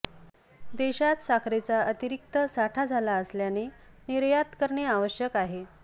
देशात साखरेचा अतिरिक्त साठा झाला असल्याने निर्यात करणे आवश्यक आहे